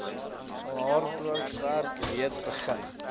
haalbaarheidswerk reeds begin